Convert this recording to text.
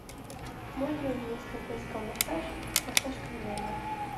можно вместо тайского массажа массаж камнями